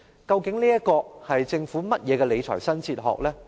究竟這是政府甚麼的理財新哲學呢？